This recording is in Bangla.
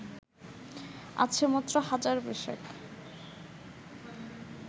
আছে মাত্র হাজার বিশেক